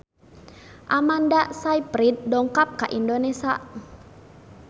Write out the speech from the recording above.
Amanda Sayfried dongkap ka Indonesia